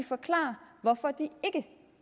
forklare hvorfor de ikke